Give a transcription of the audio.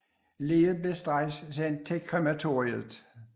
Liget blev straks sendt til krematoriet